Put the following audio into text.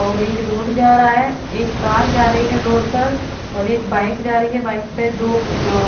और ये रोड जा रहा है एक कार जा रही है रोड पर और एक बाइक जा रही है बाइक पे दो अ --